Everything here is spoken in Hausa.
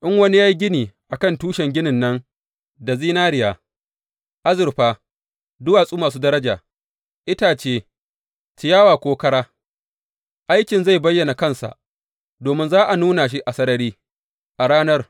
In wani ya yi gini a kan tushen ginin nan da zinariya, azurfa, duwatsu masu daraja, itace, ciyawa ko kara, aikin zai bayyana kansa, domin za a nuna shi a sarari a Ranar.